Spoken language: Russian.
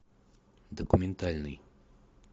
документальный